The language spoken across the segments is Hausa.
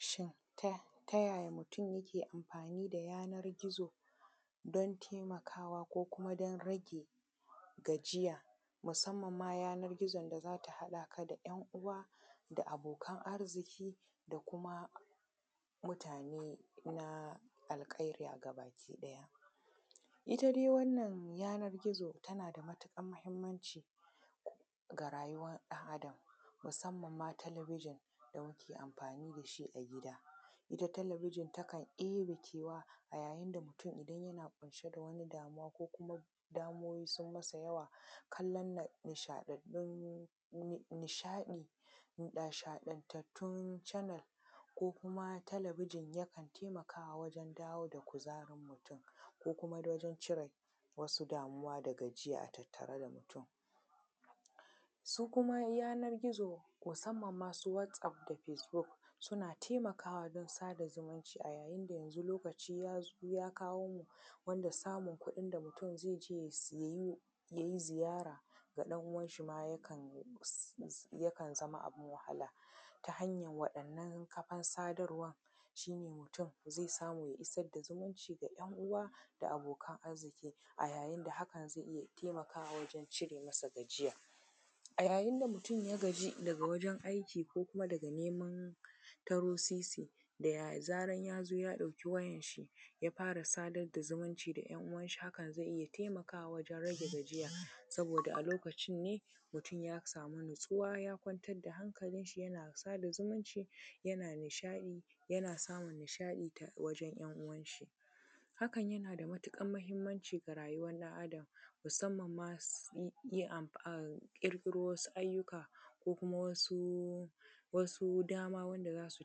Shin ta yaya mutum yake amfani da yanar gizo don taimakawa ko kuma don rage gajiya? Musamman ma yana gizon da zata haɗaka da ‘yan uwa da abokan arziki da kuma mutane na alkarya gabaki ɗaya. Ita dai wannan yanar gizo tana da matuƙar mahimmanci ga rayuwar ɗan Adam, musamman ma talabijin da muke amfani dashi a gida. Ita talabijin takan debe kewa a yayin da mutum idan yana ƙunshe da wata damuwa, ko kuma damuwoyi sun masa yawa, kallan nishaɗaɗɗun, nishaɗi, nishaɗatattun canal, ko kuma talabijin ya kan taimakawa wajen dawo da kuzarin mutum, ko kuma ko don cire wasu damuwa dagajiya a tattare da mutum. Su kuma yanar gizo musamman ma su WhatsApp da fase buk, suna taimakawa don sada zumuncin a yayin da yanzu lokaci ya zo, ya kawo mu wanda samun kuɗin da mutum ze je ye seyu, ya yi ziyara ga dan uwan shi ma ya kan si, yakan zama abin wahala, ta hanyar waɗannan kafan sadarwan shi ne mutum zai samu ya isar da zumunci ga ‘yan uwa da abokan arziki, a yayin da haka zai taimakawa wajen cire masa gajiya. A yayin da mutum ya gaji daga wajen aiki ko kuma daga neman taro sisi da zaran ya zo ya ɗauki wayan shi ya fara sadar da zumunci da ‘yan uwan shi hakan zai iya taimakawa wajen rage gajiya, saboda a lokacin ne mutum ya samu natsuwa ya kwantar da hankalin shi yana sada zumunci, yana nishaɗi, yana samun nishaɗi ta wajen ‘yan uwan shi. Hakan yana da matukar mahimmanci ga rayuwar ɗan Adam, musamman ma in ye, ya ƙirƙiro wasu ayyuka ko kuma wasu dama wanda za su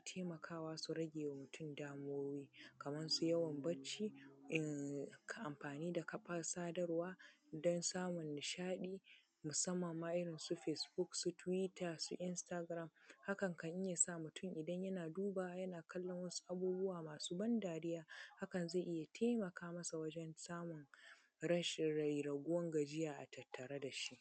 taimakawa su rage ma mutum damuwoyi, kamar su yawan barci, in, ka amfani da kafan sadarwa, don samun nishaɗi musammanma irin Facebook su twitter su, instagram, hakan kan iya sa mutum idan yana duba yana kallon waɗansu abubuwa masu ban dariya, hakan zai iya taimaka masa wajen samun rashin rairaguwan gajiya a tattare dashi.